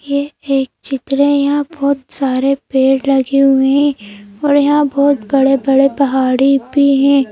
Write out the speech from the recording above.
ये एक चित्र है यहां बहुत सारे पेड़ लगे हुए हैं और यहां बहुत बड़े-बड़े पहाड़ी भी हैं।